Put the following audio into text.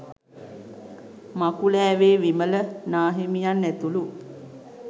මකුලෑවේ විමල නාහිමියන් ඇතුළු